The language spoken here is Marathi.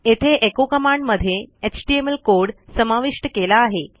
येथे एचो कमांड मध्ये एचटीएमएल कोड समाविष्ट केला आहे